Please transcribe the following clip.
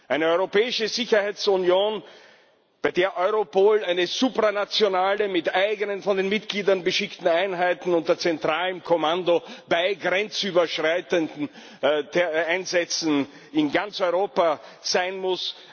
Eine europäische Sicherheitsunion, bei der Europol eine supranationale Agentur, mit eigenen, von den Mitgliedern beschickten Einheiten unter zentralem Kommando bei grenzüberschreitenden Einsätzen in ganz Europa sein muss.